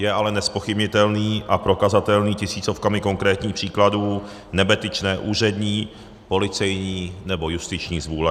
Je ale nezpochybnitelný a prokazatelný tisícovkami konkrétních příkladů nebetyčné úřední, policejní nebo justiční zvůle.